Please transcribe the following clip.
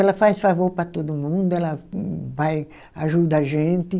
Ela faz favor para todo mundo, ela vai ajuda a gente.